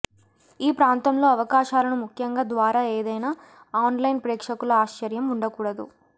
ఈ ప్రాంతంలో అవకాశాలను ముఖ్యంగా ద్వారా ఏదైనా ఆన్లైన్ ప్రేక్షకుల ఆశ్చర్యం ఉండకూడదు